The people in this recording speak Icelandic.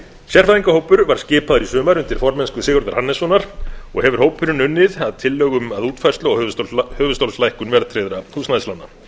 sérfræðingahópur var skipaður í sumar undir formennsku sigurðar hannessonar og hefur hópurinn unnið að tillögum að útfærslu á höfuðstólslækkun verðtryggðra húsnæðislána